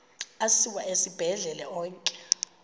asiwa esibhedlele onke